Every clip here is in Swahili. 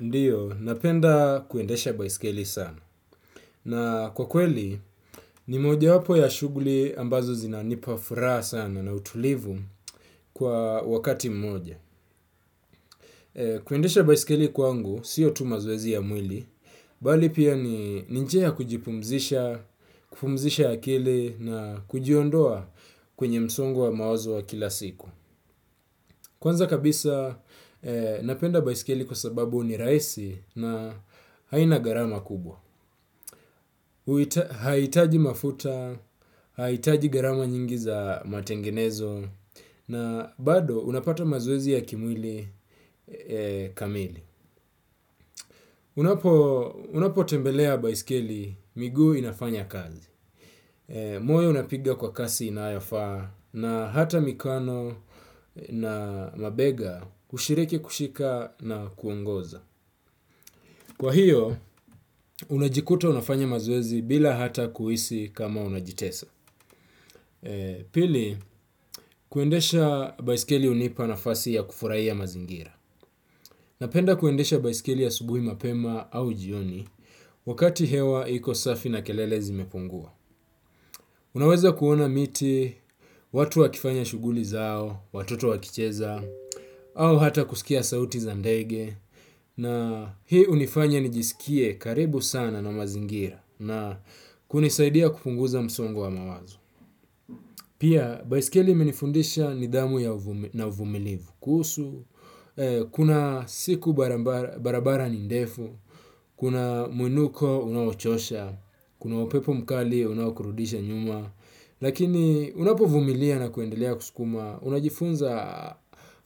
Ndio, napenda kuendesha baisikeli sana. Na kwa kweli, ni moja wapo ya shughuli ambazo zinanipa furaha sana na utulivu kwa wakati mmoja. Kuendesha baisikeli kwangu, sio tu mazoezi ya mwili, bali pia ni njia ya kujipumzisha, kupumzisha akili na kujiondoa kwenye msungo wa mawazo wa kila siku. Kwanza kabisa, napenda baisikeli kwa sababu ni rahisi na haina gharama kubwa. Haihitaji mafuta, haihitaji gharama nyingi za matengenezo, na bado unapata mazoezi ya kimwili kamili. Unapo tembelea baiskeli miguu inafanya kazi. Moyo unapigia kwa kasi inayofaa na hata mikono na mabega hushiriki kushika na kuongoza. Kwa hio, unajikuta unafanya mazoezi bila hata kuhisi kama unajitesa. Pili, kuendesha baisikeli hunipa nafasi ya kufuraia mazingira. Napenda kuendesha baisikeli asubuhi mapema au jioni. Wakati hewa iko safi na kelele zimepungua. Unaweza kuona miti, watu wakifanya shughuli zao, watoto wakicheza, au hata kusikia sauti za ndege. Na hii hunifanya nijisikie karibu sana na mazingira. Na kunisaidia kupunguza msongo wa mawazo pia baiskeli imenifundisha nidhamu na uvumilivu kuhusu, kuna siku barabara ni ndefu, kuna mwinuko unaochosha, kuna upepo mkali unaokurudisha nyuma lakini unapovumilia na kuendelea kusukuma unajifunza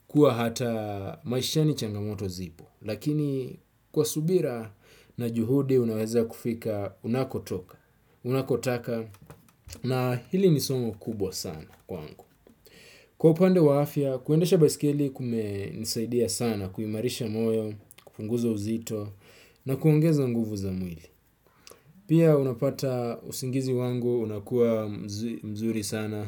kuwa hata maishani changamoto zipo, lakini kwa subira na juhudi unaweza kufikaunakotaka na hili ni somo kubwa sana kwangu. Kwa upande wa afya, kuendesha baisikeli kumesaidia sana, kuimarisha moyo, kupunguza uzito na kuongeza nguvu za mwili. Pia unapata usingizi wangu, unakuwa mzuri sana.